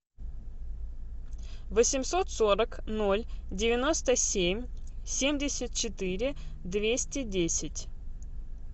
восемьсот сорок ноль девяносто семь семьдесят четыре двести десять